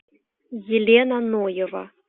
елена ноева